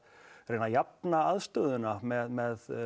reyna að jafna aðstöðuna með